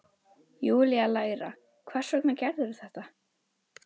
Júlía lægra: Hvers vegna gerðirðu þetta?